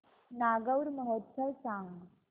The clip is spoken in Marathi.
नागौर महोत्सव सांग